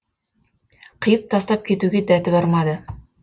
қиып тастап кетуге дәті бармады